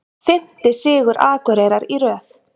Fimmti sigur Akureyrar í röð